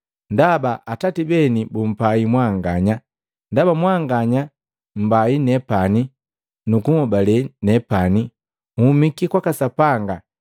Ndaba Atati beni bumpai mwanganya. Ndaba mwanganya mmbai nepani nukunhobale nepani nhumiki kwaka Sapanga,